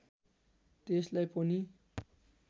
त्यसलाई पनि